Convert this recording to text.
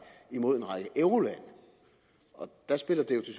imod en række eurolande og der spiller det